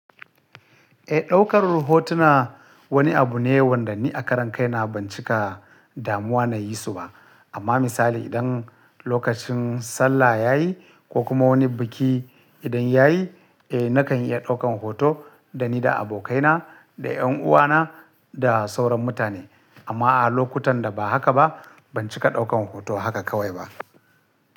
Eh, ɗaukar hotuna wani abu ne wanda ni a karan kai na ban cika damuwa na yi su ba. Amma misali idan lokacin sallah ya yi ko kuma wani biki idan ya yi, eh nakan iya ɗaukan hoto da ni da abokaina da ƴan uwana da sauran mutane. Amma a lokutan da ba haka ba ban cika ɗaukan hoto haka kawai ba.